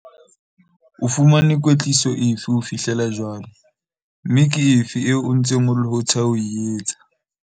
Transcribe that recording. Ke dumela ruri hore re tshwanetse ho sheba HIV le AIDS ka mokgwa o jwalo.